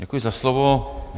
Děkuji za slovo.